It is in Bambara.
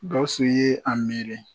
Gawusu ye a miiri